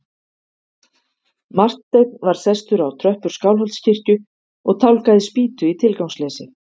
Marteinn var sestur á tröppur Skálholtskirkju og tálgaði spýtu í tilgangsleysi.